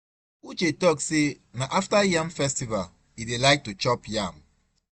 Uche talk say na after yam festival e dey like to chop yam.